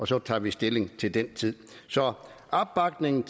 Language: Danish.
så tager vi stilling til den tid så opbakning